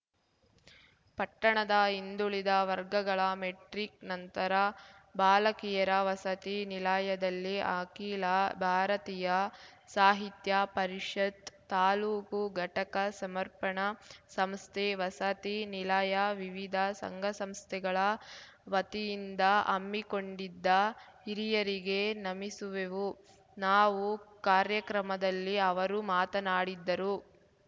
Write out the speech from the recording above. ಪಟ್ಟಣದ ಹಿಂದುಳಿದ ವರ್ಗಗಳ ಮೆಟ್ರಿಕ್‌ ನಂತರ ಬಾಲಕಿಯರ ವಸತಿ ನಿಲಾಯದಲ್ಲಿ ಅಖಿಲ ಭಾರತೀಯ ಸಾಹಿತ್ಯ ಪರಿಷತ್ ತಾಲೂಕು ಘಟಕ ಸಮರ್ಪಣ ಸಂಸ್ಥೆ ವಸತಿ ನಿಲಾಯ ವಿವಿಧ ಸಂಘಸಂಸ್ಥೆಗಳ ವತಿಯಿಂದ ಹಮ್ಮಿಕೊಂಡಿದ್ದ ಹಿರಿಯರಿಗೆ ನಮಿಸುವೆವು ನಾವು ಕಾರ್ಯಕ್ರಮದಲ್ಲಿ ಅವರು ಮಾತನಾಡಿದ್ದರು